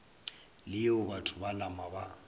leo batho ba nama ba